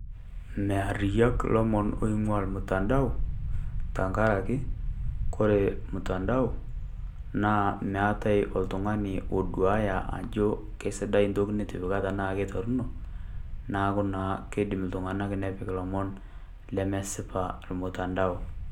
Mear iyook ilomon loing'ua olmtandao, tenkarake, kore olmutandao naa meatai oltung'ani oduaya ajo kesidai ntoki nitipika anaa torono, neaku naa keidim iltung'ana nepik ilomon lemesipa olmtandao.